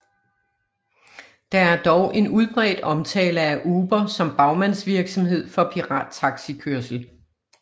Der er dog en udbredt omtale af Uber som bagmandsvirksomhed for pirattaxikørsel